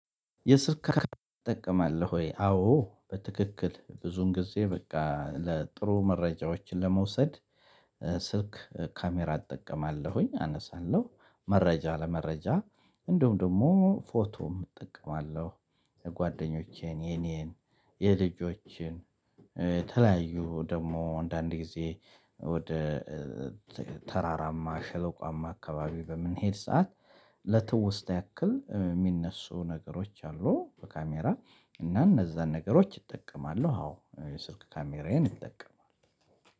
ትጠቀማለህ ወይ? አዎ በትክክል ብዙን ጊዜ በቃ ለጥሩ መረጃዎችን ለመውሰድ ስልክ ካሜራ እጠቀማለሁኝ አነሳለሁ መረጃ ለመረጃ እንደውም ደግሞ ፎቶም እጠቀማለሁ። የጓደኞቼን የኔን የልጆቼን የተለያዩ ደግሞ አንዳንድ ጊዜ ወደ ተራራማ ሸለቋማ አካባቢ በምንሄድ ሰዓት ለትውስታ ያክል የሚነሱ ነገሮች አሉ። በካሜራ እና እነዛን ነገሮች እጠቀማው አዎ የስልክ ካሜራዬን እጠቀማሉ።